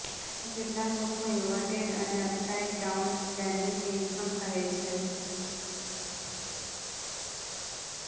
જેને કેટલાક લોકો ઈન્વર્ટેડ અને અપસાઈડ ડાઉન ડેનિમ જીન્સ પણ કહે છે